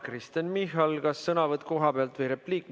Kristen Michal, kas sõnavõtt kohapealt või repliik?